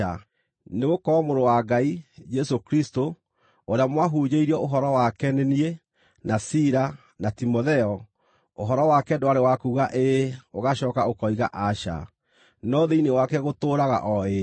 Nĩgũkorwo Mũrũ wa Ngai, Jesũ Kristũ, ũrĩa mwahunjĩirio ũhoro wake nĩ niĩ, na Sila, na Timotheo, ũhoro wake ndwarĩ wa kuuga, “Ĩĩ” ũgacooka ũkoiga “Aca,” no thĩinĩ wake gũtũũraga o “Ĩĩ.”